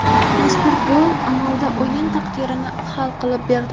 Mazkur gol amalda o‘yin taqdirini hal qilib berdi.